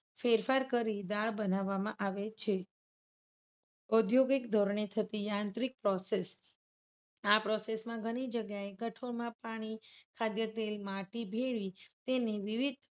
ફેરફાર કરી દાળ બનાવવામાં આવે છે. ઔદ્યોગિક ધોરણે થતી યાંત્રિક process આ પ્રોસેસમાં ઘણી જગ્યાએ કઠોળમાં પાણી ખાદ્ય તેલમાં માટી ભેળવી તેની વિવિધ